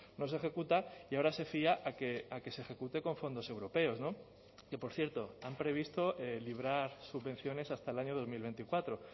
no se ejecuta y ahora se fía a que se ejecute con fondos europeos no que por cierto han previsto librar subvenciones hasta el año dos mil veinticuatro